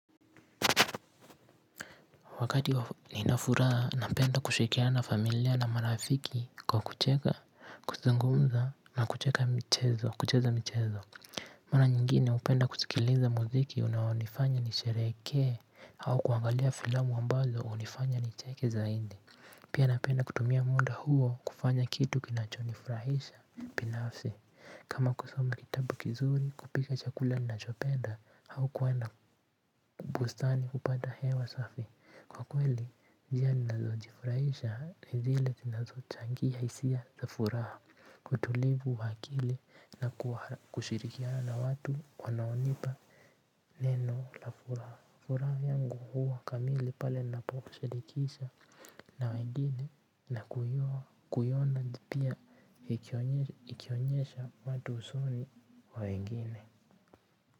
Wakati nina furaha, napenda kushirikiana na familia na marafiki kwa kucheka, kuzungumza na kucheka michezo, kucheza michezo. Mara nyingine, upenda kusikiliza muziki unaonifanya nisherehekee au kuangalia filamu ambazo hunifanya nicheke zaindi. Pia napenda kutumia muda huo kufanya kitu kinacho nifurahisha binafsi. Kama kusoma kitabu kizuri, kupika chakula ninachopenda hau kwenda bustani kupata hewa safi. Kwa kweli njia ninazo jifurahisha ni zile zinazo changia hisia za furaha utulivu wa akili na kushirikiana watu wanaonipa neno la furaha. Furaha yangu huwa kamili pale ninapoashirikisha na wengine na kuiona pia ikionyesha watu usuri wa wengine.